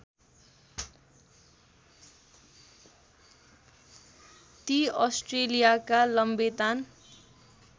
ती अस्ट्रेलियाका लम्बेतान